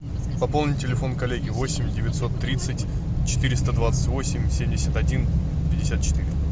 пополни телефон коллеги восемь девятьсот тридцать четыреста двадцать восемь семьдесят один пятьдесят четыре